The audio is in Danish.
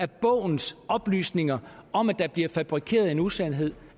bogens oplysninger om at der blev fabrikeret en usandhed